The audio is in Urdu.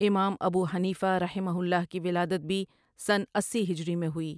امام ابوحنیفہ رحمہ اللہ کی ولادت بھی سنہ اسی ہجری میں ہوئی ۔